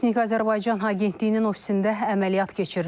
Sputnik Azərbaycan agentliyinin ofisində əməliyyat keçirilir.